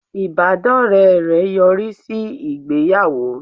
Ìbádọ́rẹ́ rẹ̀ yọrí sí ìgbéyàwó